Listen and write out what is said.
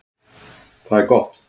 Það er gott